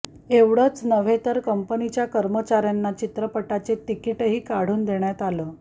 एवढंच नव्हे तर कंपनीच्या कर्मचाऱ्यांना चित्रपटाचे तिकीटही काढून देण्यात आलं